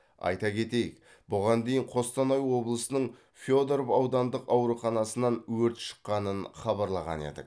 айта кетейік бұған дейін қостанай облысының федоров аудандық ауруханасынан өрт шыққанын хабарлаған едік